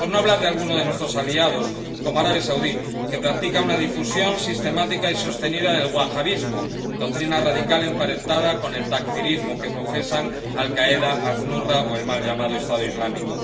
Por no hablar de alguno de nuestros aliados, como Arabia Saudí, que practica una difusión sistemática y sostenida del wahabismo, doctrina radical emparentada con el takfirismo que profesan Al Qaeda, Al Nusra o el mal llamado Estado Islámico.